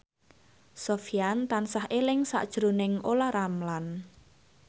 Sofyan tansah eling sakjroning Olla Ramlan